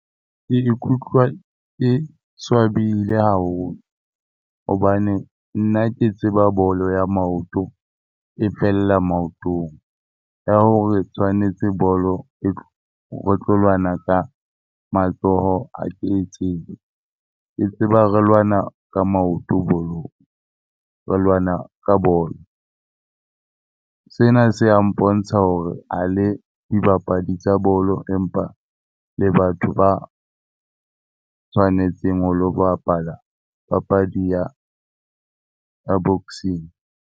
Ke ikutlwa ke swabile haholo hobane nna ke tseba bolo ya maoto e fella maotong. Ya hore tshwanetse bolo re tlo lwana ka matsoho ha ke e tsebe. Ke tseba re lwana ka maoto bolong re lwana ka bolo. Sena se a mpontsha hore ha le dibapadi tsa bolo empa le batho ba tshwanetseng ho lo bapala papadi ya ya boxing.